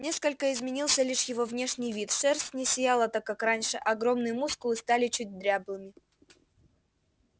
несколько изменился лишь его внешний вид шерсть не сияла так как раньше а огромные мускулы стали чуть дряблыми